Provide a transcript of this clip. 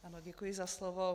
Ano, děkuji za slovo.